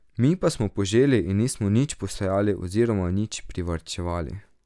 Mi pa smo poželi in nismo nič posejali oziroma nič privarčevali.